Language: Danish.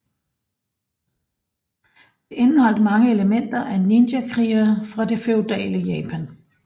Det indeholdt mange elementer af ninjakrigere fra det feudale Japan